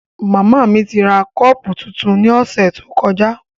Mama mi ra kọọpu tuntun ni ọsẹ to kọja.